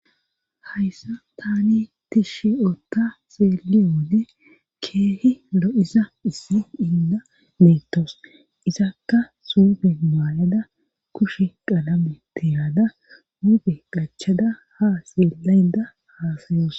hayssa tani tishi ota xeeliyoone keehi lo7isa issi inda meetos isakka sube maalada kushe qalame tihaada muuge qachada ha xeelayda haasayoos